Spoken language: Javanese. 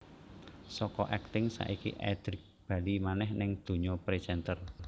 Saka akting saiki Edric bali manèh ning dunya presenter